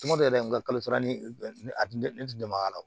Tuma bɛɛ n ka kalo sara ni a tun tɛ ne tun bɛ maga la